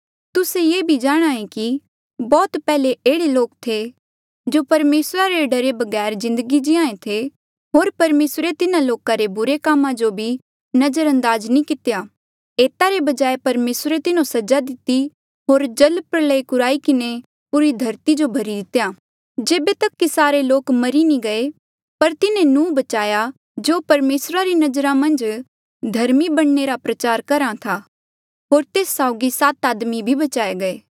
तुस्से ये भी जाणहां ऐें कि बौह्त पैहले एह्ड़े लोक थे जो परमेसरा रे डरा बगैर जिन्दगी जीहां ऐें थे होर परमेसरे तिन्हा लोका रे बुरे कामा जो भी नजरअंदाज नी कितेया एता रे बजाय परमेसरे तिन्हो सजा दिती होर जल प्रलय कुराई किन्हें पूरी धरती जो भरी दितेया जेबे तक कि सारे लोक मरी नी गये पर तिन्हें नूह बचाया जो परमेसरा री नजरा मन्झ धर्मी बणने रा प्रचार करहा था होर तेस साउगी सात आदमी भी बचाए